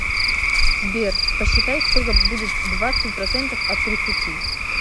сбер посчитай сколько будет двадцать процентов от тридцати